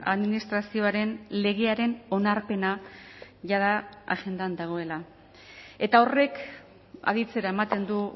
administrazioaren legearen onarpena jada agendan dagoela eta horrek aditzera ematen du